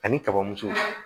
Ani kaba muso